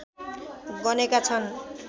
गनेका छन्